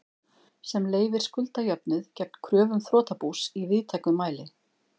sem leyfir skuldajöfnuð gegn kröfum þrotabús í víðtækum mæli.